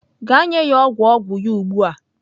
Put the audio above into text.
Gaa nye ya ogwu ogwu ya ugbua!